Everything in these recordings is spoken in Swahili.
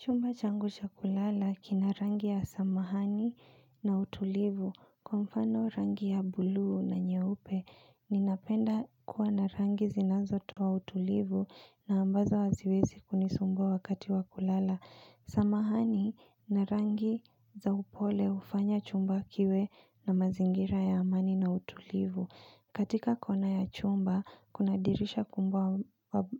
Chumba changu cha kulala kina rangi ya samahani na utulivu. Kwa mfano rangi ya buluu na nyeupe, ninapenda kuwa na rangi zinanzo toa utulivu na ambazo haziwezi kunisumbua wakati wa kulala. Samahani na rangi za upole ufanya chumba kiwe na mazingira ya amani na utulivu. Katika kona ya chumba, kuna dirisha kumbwa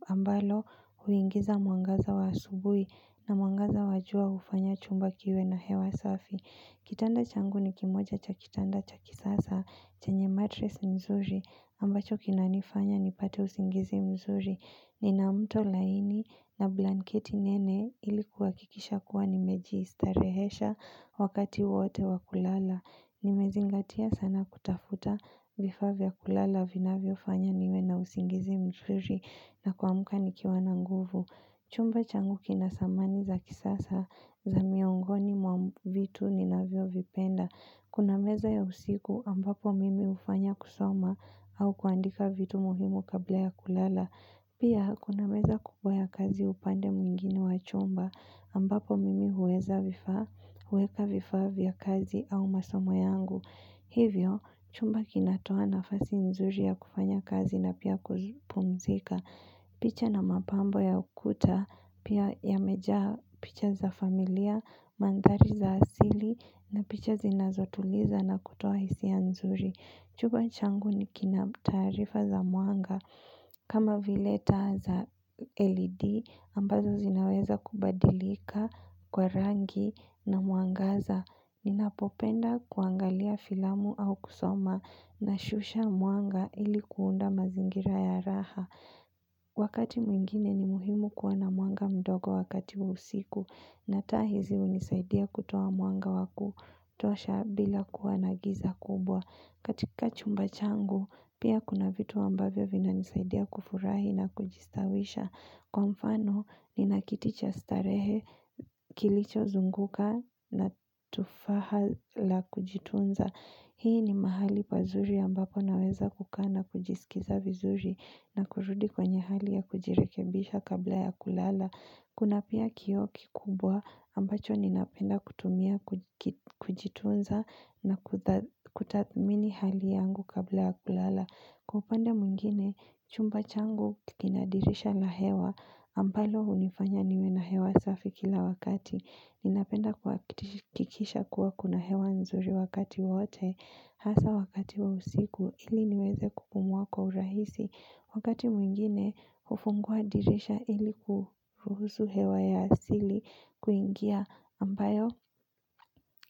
ambalo huingiza mwangaza wa asubui na mwangaza wajua ufanya chumba kiwe na hewa safi. Kitanda changu ni kimoja cha kitanda cha kisasa, chenye matres nzuri ambacho kinanifanya nipate usingizi mzuri. Ni na mto laini na blanketi nene ili kuhakikisha kuwa nimejistarehesha wakati wote wakulala. Nimezingatia sana kutafuta vifaa vya kulala vinavyo fanya niwe na usingizi mzuri na kuamka nikiwa na nguvu. Chumba changu kina samani za kisasa za miongoni mwa vitu ninavyo vipenda. Kuna meza ya usiku ambapo mimi ufanya kusoma au kuandika vitu muhimu kabla ya kulala. Pia, kuna meza kubwa ya kazi upande mwingine wa chumba ambapo mimi huweza vifaa, huweka vifaa vya kazi au masomo yangu. Hivyo, chumba kinatoa nafasi nzuri ya kufanya kazi na pia kuzipumzika. Picha na mapambo ya ukuta, pia ya meja picha za familia, mandari za asili na picha zinazotuliza na kutoa hisia nzuri. Chumba changu ni kina taarifa za muanga kama vile taa za LED ambazo zinaweza kubadilika kwa rangi na muangaza. Ninapopenda kuangalia filamu au kusoma na shusha muanga ilikuunda mazingira ya rahaa. Wakati mwingine ni muhimu kuwa na mwanga mdogo wakati usiku. Na taa hizi unisaidia kutoa mwanga wa kutosha bila kuwa na giza kubwa. Katika chumba changu pia kuna vitu ambavyo vina nisaidia kufurahi na kujistawisha Kwa mfano ni na kiti cha starehe kilicho zunguka na tufaha la kujitunza Hii ni mahali pazuri ambapo naweza kukaa na kujiskiza vizuri na kurudi kwenye hali ya kujirekebisha kabla ya kulala Kuna pia kio kikubwa ambacho ninapenda kutumia kujitunza na kutadhmini hali yangu kabla ya kulala. Kwa upande mwingine, chumba changu kikinadirisha la hewa ambalo unifanya niwe na hewa safi kila wakati. Ninapenda kuakikisha kuwa kuna hewa nzuri wakati wote hasa wakati wa usiku ili niweze kupumua kwa urahisi. Wakati mwingine, ufungua dirisha ili kuruhusu hewa ya asili kuingia ambayo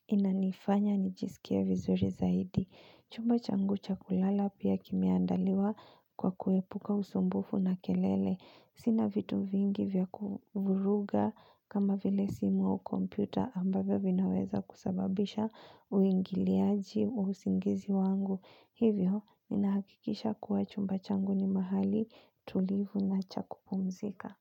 inanifanya nijisikie vizuri zaidi. Chumba changu cha kulala pia kimiandaliwa kwa kuepuka usumbufu na kelele. Sina vitu vingi vya kuvuruga kama vile simu wa kompyuta ambayo vinaweza kusababisha uingiliaji usingizi wangu. Hivyo, ninahakikisha kuwa chumba changu ni mahali tulivu na cha kupumzika.